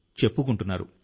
చెప్పుకుంటున్నారు